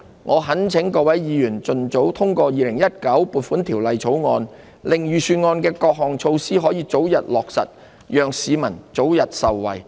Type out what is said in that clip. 我懇請各位議員盡早通過《2019年撥款條例草案》，令預算案的各項措施得以早日落實，讓市民早日受惠。